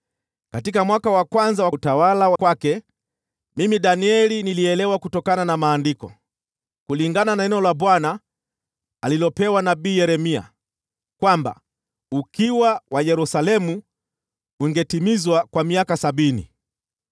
katika mwaka wa kwanza wa utawala wake, mimi Danieli nilielewa kutokana na Maandiko, kulingana na neno la Bwana alilopewa nabii Yeremia, kwamba ukiwa wa Yerusalemu ungetimizwa kwa miaka sabini.